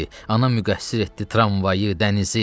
Ana müqəssir etdi tramvayı, dənizi.